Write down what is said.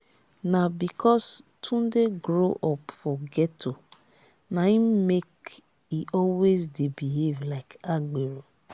na because tunde grow up for ghetto na im make e always dey behave like agbero